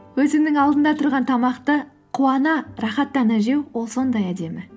өзіңнің алдында тұрған тамақты қуана рахаттана жеу ол сондай әдемі